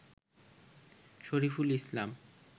Shariful Islam